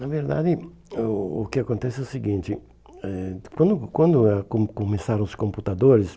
Na verdade, o o que acontece é o seguinte, eh quando quando eh co começaram os computadores,